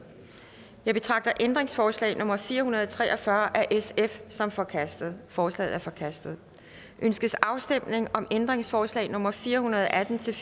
jeg betragter ændringsforslag nummer fire hundrede og tre og fyrre af sf som forkastet forslaget er forkastet ønskes afstemning om ændringsforslag nummer fire hundrede og atten til